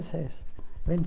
E seis